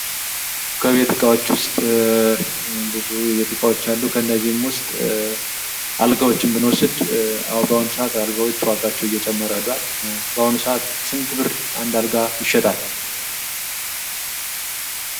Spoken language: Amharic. ከቤት እቃዎች ውስጥ ብዙ የቤት እቃዎች አሉ። ከነዚህም ውስጥ አልጋዎችን ብንዎስድ በአሁኑ ሰአት አልጋዎች ዋጋቸው እየጨመረ ሂዷል። በአሁኑ ሰአት ስንት ብር አንድ አልጋ ይሸጣል?